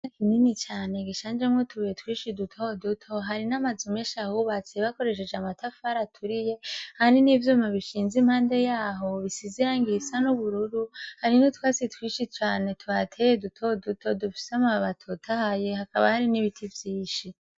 Ikibuga kinini cane gishanjemwo utubuye twinshi dutoduto hariho n'amazu menshi ahubatse bakoresheje amatafari aturiye, hari n'ivyuma bishinze impande y'aho, bisize irangi risa n'ubururu. Hari n'utwatsi twinshi cane tuhateye dutoduto dufise amababi atotahaye, hakaba hari n'ibiti vyinshi.